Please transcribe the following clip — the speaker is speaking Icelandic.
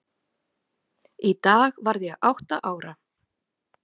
Í dag varð ég átta ára.